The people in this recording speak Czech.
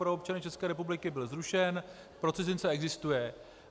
Pro občany České republiky byl zrušen, pro cizince existuje.